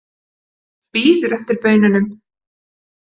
Bíður eftir baununum.